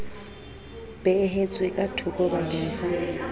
beehetswe ka thokobakeng sa ho